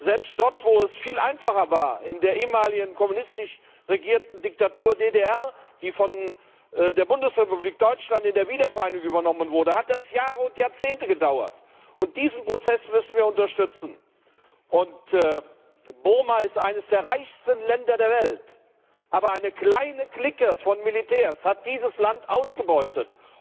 Selbst dort, wo es viel einfacher war, in der ehemaligen kommunistisch regierten Diktatur DDR, die von der Bundesrepublik Deutschland bei der Wiedervereinigung übernommen wurde, hat es Jahre und Jahrzehnte gedauert. Diesen Prozess müssen wir unterstützen. Burma ist eines der reichsten Länder der Welt, aber eine kleine Clique von Militärs hat dieses Land ausgebeutet.